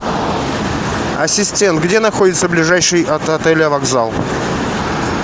ассистент где находится ближайший от отеля вокзал